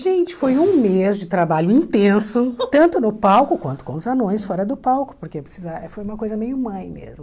Gente, foi um mês de trabalho intenso, tanto no palco quanto com os anões fora do palco, porque precisa foi uma coisa meio mãe mesmo.